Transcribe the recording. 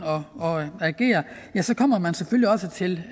og agere kommer man selvfølgelig også til